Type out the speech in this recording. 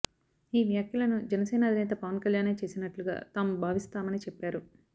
ఈ వ్యాఖ్యలను జనసేన అధినేత పవన్ కల్యాణే చేసినట్లుగా తాము భావిస్తామని చెప్పారు